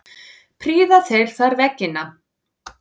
Prýða þeir þar veggina.